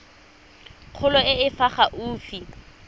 kgolo e e fa gaufi